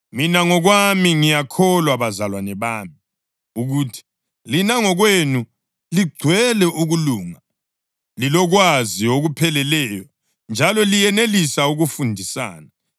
Mina ngokwami ngiyakholwa bazalwane bami, ukuthi lina ngokwenu ligcwele ukulunga, lilokwazi okupheleleyo njalo liyenelisa ukufundisana.